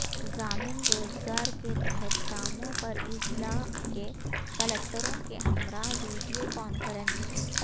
ضامن روزگار کے تحت کاموں پر اضلاع کے کلکٹروں کے ہمراہ ویڈیو کانفرنس